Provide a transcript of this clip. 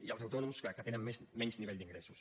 i els autònoms que tenen menys nivell d’ingressos